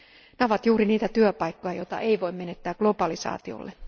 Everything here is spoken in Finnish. Ne ovat juuri niitä työpaikkoja, joita ei voi menettää globalisaatiolle.